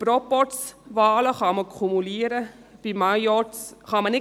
Bei Proporzwahlen kann man kumulieren, bei Majorzwahlen nicht.